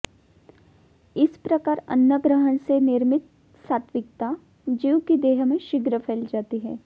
इस प्रकार अन्नग्रहण से निर्मित सात्त्विकता जीव की देह में शीघ्र फैल जाती है